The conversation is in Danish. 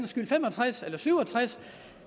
skyld fem og tres eller syv og tres